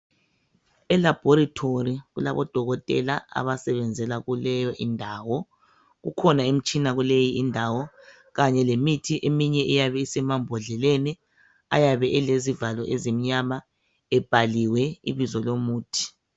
Elabhorithori kulabodokotela abasebenzela kuleyo indawo kukhona imitshina kuleyi indawo kanye lemithi eminye iyabe isemambodleleni ayabe elezivalo ezimnyama ebhaliwe ibizo lomuthi.